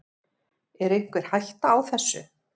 Er einhver hætta á þessu?